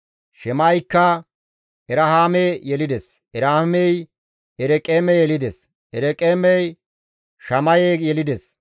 Shema7eykka Erahaame yelides; Erahaamey Ereqeeme yelides; Ereqeemey Shamaye yelides.